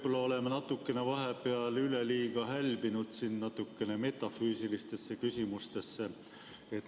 Me oleme võib-olla vahepeal üleliia hälbinud siin natukene metafüüsilistesse küsimustesse.